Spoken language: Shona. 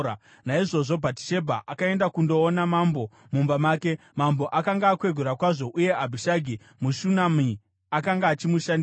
Naizvozvo, Bhatishebha akaenda kundoona mambo mumba make. Mambo akanga akwegura kwazvo, uye Abhishagi muShunami akanga achimushandira.